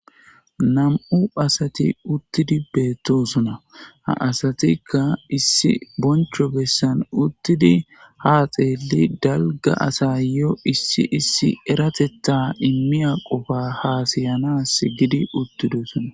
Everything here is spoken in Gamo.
Nam'u assati uttidi bettosona ha asatika issi bonchcho bessan uttidi ha xeeli dalgga assayo issi issi errateta immiya qoffa hasayanas giidi uttidosona.